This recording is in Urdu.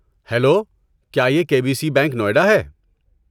ہیلو، کیا یہ K B C bank, Noida ہے؟